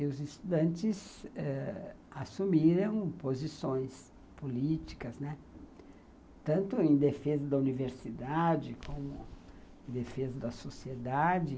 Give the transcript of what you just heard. E os estudantes ãh assumiram posições políticas, né, tanto em defesa da universidade, como em defesa da sociedade.